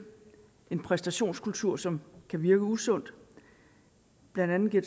en præstationskultur som kan virke usund blandt andet giver